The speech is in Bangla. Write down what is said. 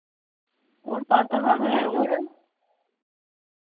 ওর কত হবে ওরম